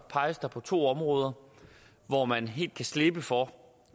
peges der på to områder hvor man helt kan slippe for